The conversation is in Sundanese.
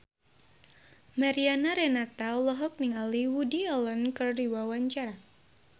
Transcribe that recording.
Mariana Renata olohok ningali Woody Allen keur diwawancara